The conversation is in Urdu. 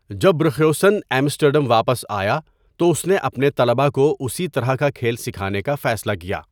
جب بروخیوسن ایمسٹرڈیم واپس آیا تو اس نے اپنے طلبا کو اسی طرح کا کھیل سکھانے کا فیصلہ کیا۔